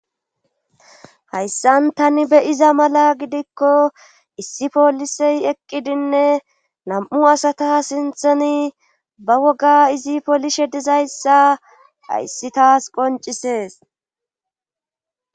Hayssan tani beyiza mala gidikko issi poolisey eqqidinne nam'u asata sintheni ba woga izi poolishe dizayssa ayssi taas qoncisees.